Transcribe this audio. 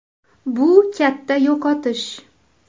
Bu katta yo‘qotish.